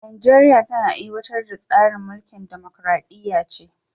Najeriya tana aiwatar da tsarin mulkin dimokradiyya ce